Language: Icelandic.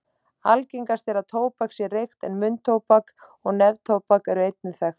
Algengast er að tóbak sé reykt en munntóbak og neftóbak eru einnig þekkt.